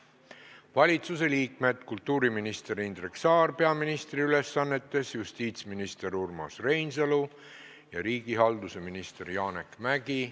Valitsuse esindajad on kultuuriminister Indrek Saar peaministri ülesannetes, justiitsminister Urmas Reinsalu ja riigihalduse minister Janek Mäggi.